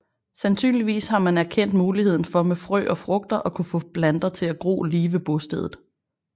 Sandsynligvis har man erkendt muligheden for med frø og frugter at kunne få planter til at gro lige ved bostedet